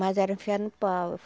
Mas era enfiado no pau.